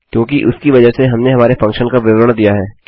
क्योंकि उसकी वजह से हमने हमारे फंक्शन का विवरण दिया है